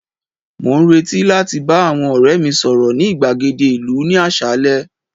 mo n reti láti ba àwọn ore mi sọrọ ni igbagede ìlú ni asale